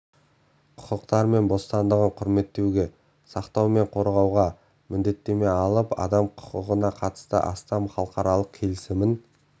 құқықтары мен бостандығын құрметтеуге сақтау мен қорғауға міндеттеме алып адам құқығына қатысты астам халықаралық келісімін